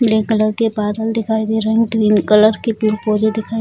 नीले कलर के बादल दिखाई दे रहे हैं ग्रीन कलर की पेड़-पौधे दिखाई --